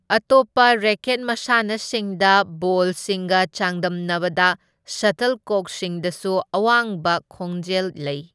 ꯑꯇꯣꯞꯄ ꯔꯦꯀꯦꯠ ꯃꯁꯥꯟꯅꯁꯤꯡꯗ ꯕꯣꯜꯁꯤꯡꯒ ꯆꯥꯡꯗꯝꯅꯕꯗ ꯁꯇꯜꯀꯣꯛꯁꯤꯡꯗꯁꯨ ꯑꯋꯥꯡꯕ ꯈꯣꯟꯖꯦꯜ ꯂꯩ꯫